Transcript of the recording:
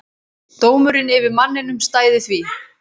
Dómurinn yfir manninum stæði því.